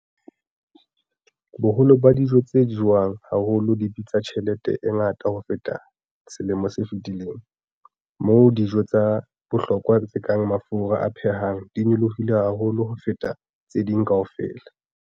Boholo ba dijo tse jewang haholo di bitsa tjhelete e ngata ho feta selemo se fetileng, moo dijo tsa bohlokwa tse kang mafura a phehang di nyolohileng haholo ho feta tse ding kaofela.